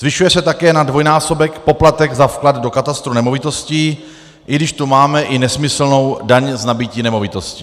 Zvyšuje se také na dvojnásobek poplatek za vklad do katastru nemovitostí, i když tu máme i nesmyslnou daň z nabytí nemovitosti.